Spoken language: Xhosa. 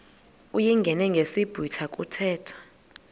uyingene ngesiblwitha kuthethwa